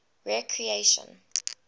recreation